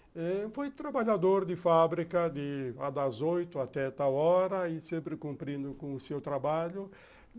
Eh foi trabalhador de fábrica de a das oito até tal hora e sempre cumprindo com o seu trabalho.